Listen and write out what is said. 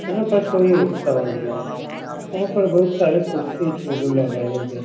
यहाँ पर कोई उत्सव हो रहा है। यहाँ पर बहुत सारे कुर्सी टेबुल लगाए गये --